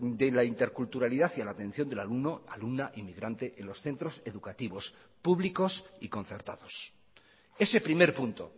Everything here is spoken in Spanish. de la interculturalidad y a la atención del alumno alumna inmigrante en los centros educativos públicos y concertados ese primer punto